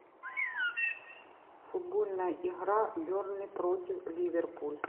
футбольная игра бернли против ливерпуль